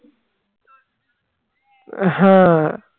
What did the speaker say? হ্যাঁ